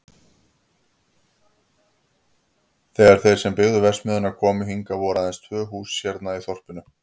Þegar þeir sem byggðu verksmiðjuna komu hingað voru aðeins tvö hús hérna í þorpinu.